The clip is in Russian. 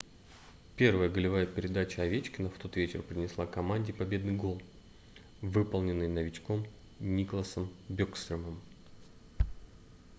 первая голевая передача овечкина в тот вечер принесла команде победный гол выполненный новичком никласом бекстрёмом